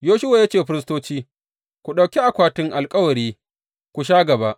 Yoshuwa ya ce wa firistoci, Ku ɗauki akwatin alkawari ku sha gaba.